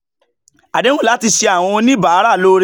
àdéhùn láti ṣe àwọn oníbàárà lóore